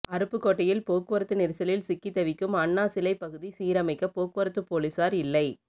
அருப்புக்கோட்டையில் போக்குவரத்து நெரிசலில் சிக்கி தவிக்கும் அண்ணா சிலை பகுதி சீரமைக்க போக்குவரத்து போலீசார் இல்லை